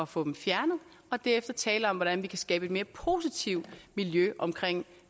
få dem fjernet og derefter tale om hvordan vi kan skabe et mere positivt miljø omkring